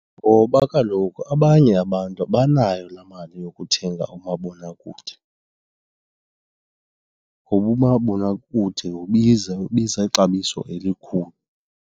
Ngoba kaloku abanye abantu abanayo laa mali yokuthenga umabonakude ngoba umabonakude ubiza, ubiza ixabiso elikhulu.